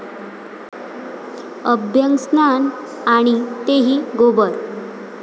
अभ्यंगस्नान आणि तेही गोबर!